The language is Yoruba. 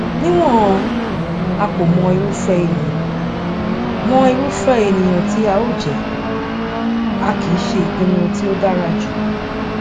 níwọn a kò mọ irúfẹ ènìyàn mọ irúfẹ ènìyàn tí a ó jẹ a kìí ṣe ìpinnu tí ó dára jù